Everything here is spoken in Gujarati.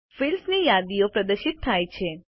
ફિલ્ડ્સ ની યાદીઓ પ્રદર્શિત થાય છે